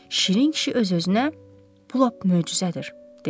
Şirin kişi öz-özünə: "Bu lap möcüzədir" dedi.